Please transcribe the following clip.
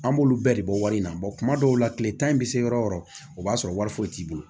An b'olu bɛɛ de bɔ wari in na kuma dɔw la tile tan in bɛ se yɔrɔ o yɔrɔ o b'a sɔrɔ wari foyi t'i bolo